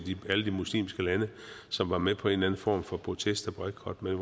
alle de muslimske lande som var med på en eller anden form for protest og boykot men